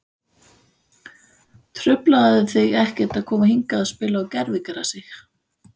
Truflaði þig ekkert að koma hingað og spila á gervigrasi?